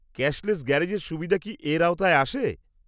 -Cashless গ্যারেজের সুবিধা কি এর আওতায় আসে?